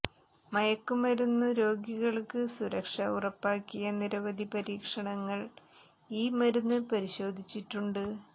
മയക്കുമരുന്നു രോഗികൾക്ക് സുരക്ഷ ഉറപ്പാക്കിയ നിരവധി പരീക്ഷണങ്ങൾ ഈ മരുന്ന് പരിശോധിച്ചിട്ടുണ്ട്